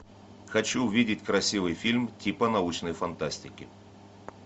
хочу увидеть красивый фильм типа научной фантастики